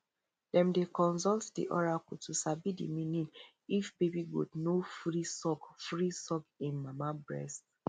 dem dey consult the oracle to sabi the meaning if baby goat no free suck free suck hin mama breast